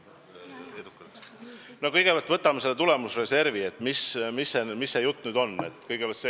Võtame kõigepealt selle tulemusreservi – millest jutt käib.